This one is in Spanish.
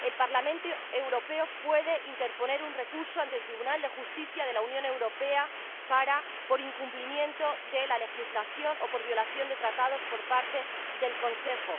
El Parlamento Europeo puede interponer un recurso ante el Tribunal de Justicia de la Unión Europea por incumplimiento de la legislación o por violación de los Tratados por parte del Consejo.